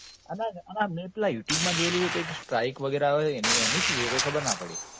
અને અને મેં પેલા youtube માં જોયેલું કે કંઈક strike વગેરા આવે છે એની, એનું શું? એ ખબર ના પડી.